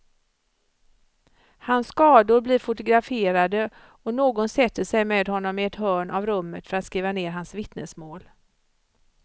Hans skador blir fotograferade och någon sätter sig med honom i ett hörn av rummet för att skriva ned hans vittnesmål.